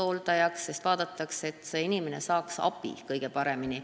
Usutakse, et niimoodi saab inimene abi kõige paremini.